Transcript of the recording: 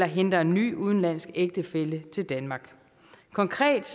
henter en ny udenlandsk ægtefælle til danmark konkret